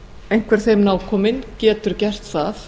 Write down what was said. einhver þeim nákominn getur gert það